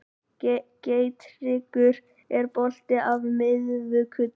Geirtryggur, er bolti á miðvikudaginn?